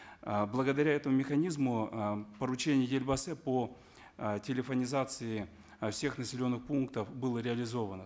э благодаря этому механизму э поручение елбасы по э телефонизации э всех населенных пунктов было реализовано